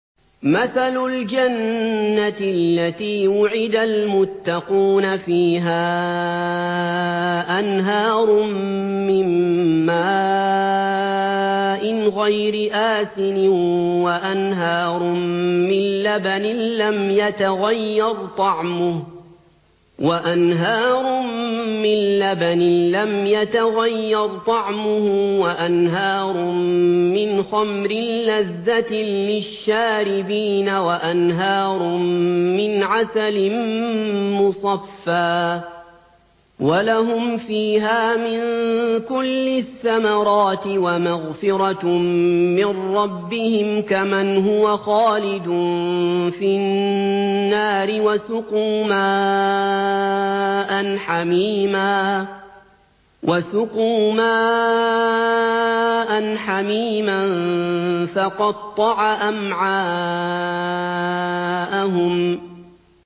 مَّثَلُ الْجَنَّةِ الَّتِي وُعِدَ الْمُتَّقُونَ ۖ فِيهَا أَنْهَارٌ مِّن مَّاءٍ غَيْرِ آسِنٍ وَأَنْهَارٌ مِّن لَّبَنٍ لَّمْ يَتَغَيَّرْ طَعْمُهُ وَأَنْهَارٌ مِّنْ خَمْرٍ لَّذَّةٍ لِّلشَّارِبِينَ وَأَنْهَارٌ مِّنْ عَسَلٍ مُّصَفًّى ۖ وَلَهُمْ فِيهَا مِن كُلِّ الثَّمَرَاتِ وَمَغْفِرَةٌ مِّن رَّبِّهِمْ ۖ كَمَنْ هُوَ خَالِدٌ فِي النَّارِ وَسُقُوا مَاءً حَمِيمًا فَقَطَّعَ أَمْعَاءَهُمْ